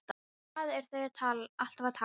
Um hvað eru þær alltaf að tala?